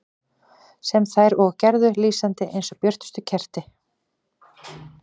Sem þær og gerðu, lýsandi eins og björtust kerti.